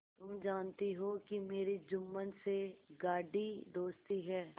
तुम जानती हो कि मेरी जुम्मन से गाढ़ी दोस्ती है